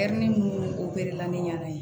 minnu la ni ɲɛna